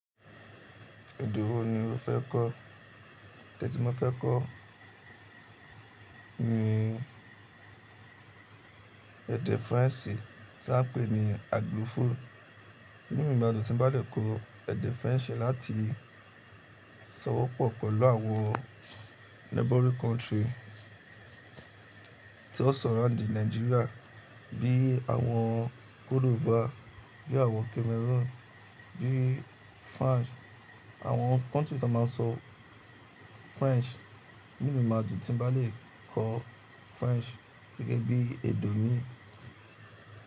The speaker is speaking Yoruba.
Èdè wo ni o fẹ́ kọ́? Ẹ̀dẹ̀ tí mo fẹ́ kọ́ ni ẹ̀dẹ̀ French tí wọ́n ń pè ní Aglofo. Inú mi ma dùn tí mo bá dẹ̀ kọ ẹ̀dẹ̀ French láti sowọ́pọ̀ pẹ̀lú àwọn neighboring country tí ó sọ rárìn ní Nigeria, bí i àwọn Cote D'Ivoire, bí i àwọn Cameroon, bí i France, àwọn country tí wọ́n máa ń sọ French. Inubmi ma dùn tí mo bá lè kọ́ French gẹ́gẹ́ bí èdè mi.